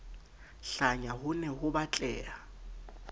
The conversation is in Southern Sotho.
hlanya ho ne ho batleha